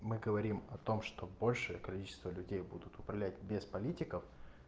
мы говорим о том что большее количество людей будут управлять без политиков